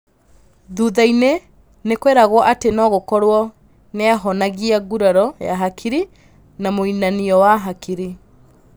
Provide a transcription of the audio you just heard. Thuthainĩ nĩkweragwo atĩ nogũkorwo nĩahonagia nguraro ya hakiri na mũinainio wa hakiri.